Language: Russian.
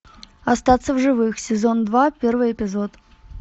остаться в живых сезон два первый эпизод